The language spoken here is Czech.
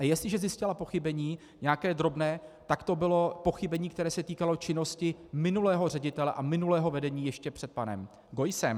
A jestliže zjistila pochybení, nějaké drobné, tak to bylo pochybení, které se týkalo činnosti minulého ředitele a minulého vedení ještě před panem Geussem.